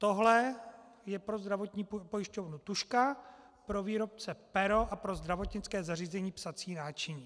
Tohle je pro zdravotní pojišťovnu tužka, pro výrobce pero a pro zdravotnické zařízení psací náčiní.